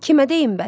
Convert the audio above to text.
Kimə deyim bəs?